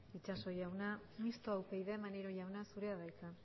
itxaso jauna mistoa upyd maneiro jauna zurea da hitza